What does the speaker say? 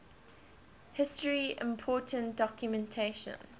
history important documentation